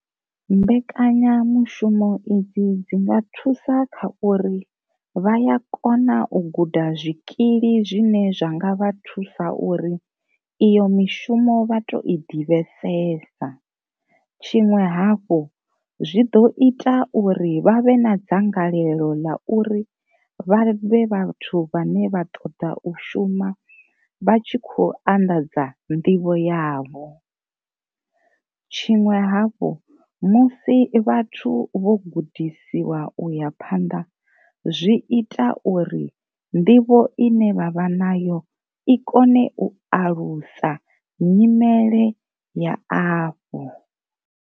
Mbekanyamushumo idzi dzi nga thusa kha uri vha ya kona u guda zwikili zwine zwa nga vha thusa uri iyo mishumo vha to i ḓivhesesa. Tshiṅwe hafhu zwi ḓo ita uri vhavhe na dzangalelo ḽa uri vha vhe vhathu vhane vha ṱoḓa u shuma vha tshi khou anḓadza nḓivho yavho, tshiṅwe havhu musi vhathu vho gudisiwa uya phanḓa zwi ita uri nḓivho ine vhavha nayo i kone u alusa nyimele ya afho.